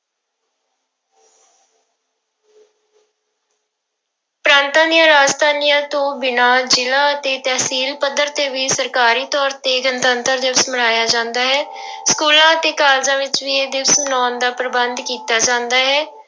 ਪ੍ਰਾਂਤਾਂ ਦੀਆਂ ਰਾਜਧਾਨੀਆਂ ਤੋਂ ਬਿਨਾਂ ਜ਼ਿਲ੍ਹਾ ਅਤੇ ਤਹਿਸੀਲ ਪੱਧਰ ਤੇ ਵੀ ਸਰਕਾਰੀ ਤੌਰ ਤੇ ਗਣਤੰਤਰ ਦਿਵਸ ਮਨਾਇਆ ਜਾਂਦਾ ਹੈ ਸਕੂਲਾਂ ਅਤੇ ਕਾਲਜਾਂ ਵਿੱਚ ਵੀ ਇਹ ਦਿਵਸ ਮਨਾਉਣ ਦਾ ਪ੍ਰਬੰਧ ਕੀਤਾ ਜਾਂਦਾ ਹੈ।